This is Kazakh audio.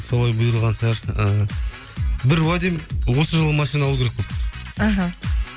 солай бұйырған шығар ы бір уәдем осы жылы машина алу керек болды іхі